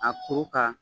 A kuru ka